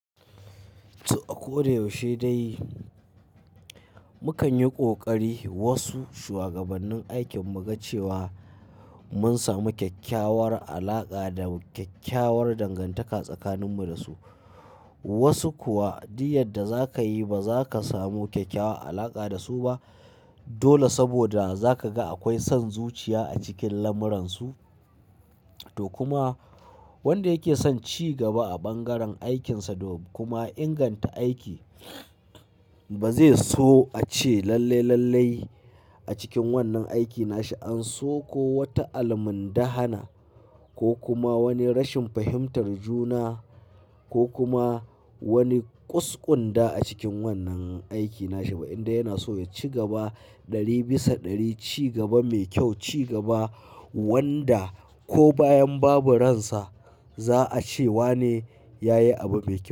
To a ko da yaushe dai, mu kan yi ƙoƙari wasu shuwagabannin aikin mu ga cewa mun samu kyakkyawar alaƙa da kyakkyawar dangantaka tsakaninmu da su. Wasu kuwa duk yarda da za ka yi, ba za ka samu kyakkyawar alaƙa da su ba. Dole saboda za ka ga akwai son zuciya a cikin lamuran su. To kuma wanda yake son ci gaba a bangaren aikinsa da kuma inganta aiki, ba zai so a ce lallai lallai a cikin wannan aiki na shi an so ko wata al'mundahana ko kuma wani rashin fahimtar juna ko kuma wani ƙusƙunda a cikin wannan aiki na shi ba indai yana so ya ci gaba ɗari bisa ɗari, ci gaba mai kyau, ci gaba wanda ko bayan babu ransa za'a ce wane yayi abu mai kyau.